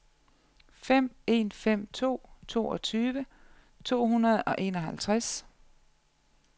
fem en fem to toogtyve to hundrede og enoghalvtreds